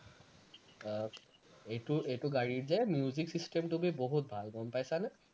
আহ এইটো এইটো গাড়ীৰ যে music system টো বহুত ভাল গম পাইছানে?